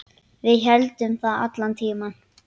Við héldum það allan tímann.